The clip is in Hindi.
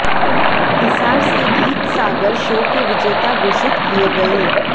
हिसार से गीत सागर शो के विजेता घोषित किए गए